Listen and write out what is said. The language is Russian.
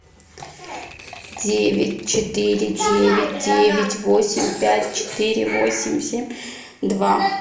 девять четыре девять девять восемь пять четыре восемь семь два